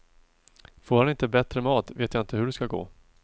Får han inte bättre mat, vet jag inte hur det ska gå.